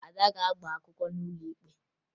Ada ga-agba akwụkwọ n'ụlọ ikpe